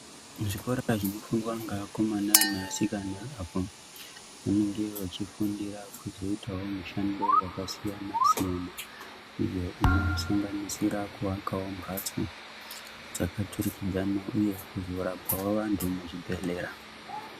Muzvikora zvinofundiwa ngeakomana neasikana apo anenge achifundira kuzoitawo mishando yakasiyana-siyana iyo inosanganisira kuakawo mphatso dzakaturikidzana uye kuzorapawo antu muzvibhedhlera.